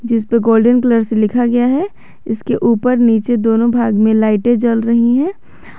इस पे golden colour से लिखा गया है इसके ऊपर नीचे दोनों भाग में लाइटें जल रही हैं।